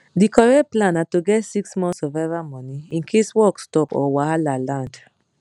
di correct plan na to get six months survival money in case work stop or wahala land